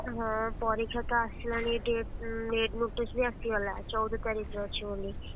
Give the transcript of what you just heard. ହଁ ପରୀକ୍ଷା ତ ଆସିଲାଣି date main notice ବି ଆସିଗଲା ଚଉଦ ତାରିଖରେ ଅଛି ବୋଲି।